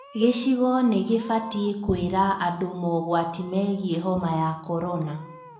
Gĩcigo nĩ gĩbatiĩkũira andũ mogwati megiĩ homa ya korona